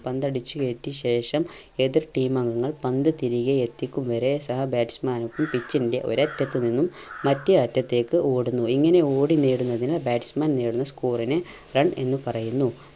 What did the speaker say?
പന്തടിച്ചു കേറ്റി ശേഷം എതിർ team അംഗങ്ങൾ പന്ത് തിരികെ എത്തിക്കും വരെ സാ batsman ക്കും pitch ൻറെ ഒരറ്റത്ത് നിന്നും മറ്റേ അറ്റത്തേക്ക് ഓടുന്നു. ഇങ്ങനെ ഓടി നേടുന്നതിന് batsman നേടുന്ന score ന് run എന്ന് പറയുന്നു.